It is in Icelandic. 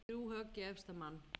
Þrjú högg í efsta mann.